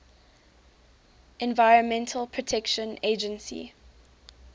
environmental protection agency